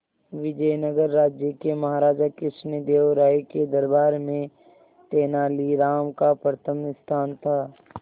विजयनगर राज्य के महाराजा कृष्णदेव राय के दरबार में तेनालीराम का प्रथम स्थान था